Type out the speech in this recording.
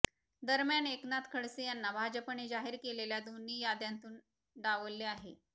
दरम्यान एकनाथ खडसे यांना भाजपने जाहीर केलेल्या दोन्ही याद्यांतून डावलले आहे